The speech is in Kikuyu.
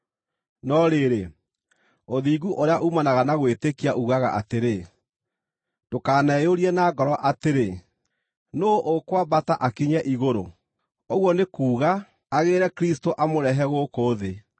No rĩrĩ, ũthingu ũrĩa uumanaga na gwĩtĩkia uugaga atĩrĩ: “Ndũkaneyũrie na ngoro atĩrĩ, ‘Nũũ ũkwambata akinye igũrũ?’ ” (ũguo nĩ kuuga, agĩĩre Kristũ amũrehe gũkũ thĩ)